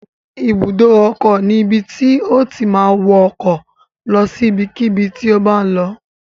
Ibùdó ọkọ̀ ni ibi tí o ti ma wọ ọkọ̀ lọ sí ibikíbi tí o bá ń lọ